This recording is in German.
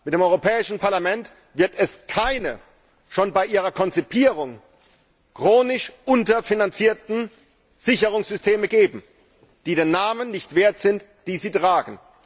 Mit dem Europäischen Parlament wird es keine schon bei ihrer Konzipierung chronisch unterfinanzierten Sicherungssysteme geben, die den Namen nicht wert sind, den sie tragen.